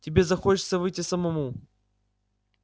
тебе захочется выйти самому